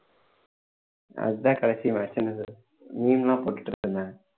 அதுதான் கடைசி match என்னுது meme லாம் போட்டுட்டு இருப்பேனா